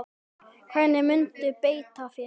Hvernig muntu beita þér?